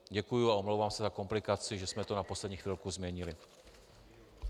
Děkuju a omlouvám se za komplikaci, že jsme to na poslední chvilku změnili.